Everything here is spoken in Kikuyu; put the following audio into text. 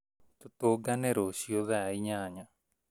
Tũtũngane rũciũ thaa ĩnyanya